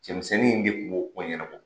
Cɛmisɛnnin in de kun b'o ko ɲɛnabɔ.